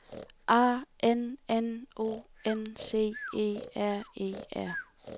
A N N O N C E R E R